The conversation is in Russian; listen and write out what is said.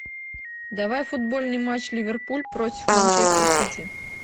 давай футбольный матч ливерпуль против манчестер сити